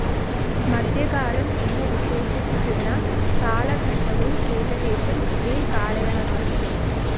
മധ്യകാലം എന്ന് വിശേഷിപ്പിക്കുന്ന കാലഘട്ടവും ഏകദേശം ഇതേ കാലയളവാണ്.